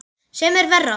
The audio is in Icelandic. Sem er verra.